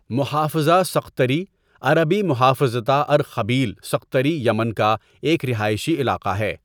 محافظہ سقطری عربی محافظة أرخبيل سقطرى یمن کا ایک رہائشی علاقہ ہے.